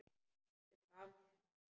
Sem gaf mér að borða.